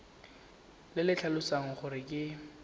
le le tlhalosang gore ke